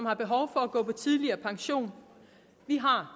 har behov for at gå tidligere på pension vi har